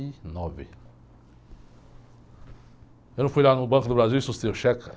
e nove. Eu não fui lá no Banco do Brasil e sustei o cheque, cara?